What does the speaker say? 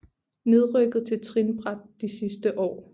Nedrykket til trinbræt de sidste år